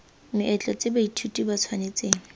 meetlo tse baithuti ba tshwanetseng